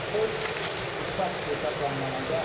Toy Busat burda canlanacaq.